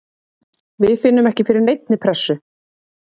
Við finnum ekki fyrir neinni pressu.